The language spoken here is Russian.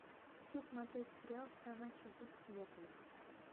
хочу смотреть сериал страна чудес смертников